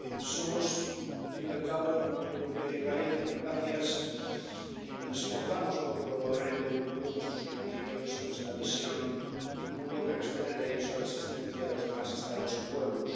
Somos, al fin y al cabo, la Unión Europea e Israel, democracias que nos esforzamos por promover en todo el mundo nuestros principios y nuestra visión de un mundo que respete el derecho a la asistencia de los demás Estados y pueblos.